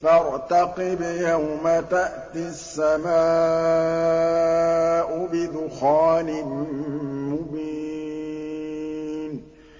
فَارْتَقِبْ يَوْمَ تَأْتِي السَّمَاءُ بِدُخَانٍ مُّبِينٍ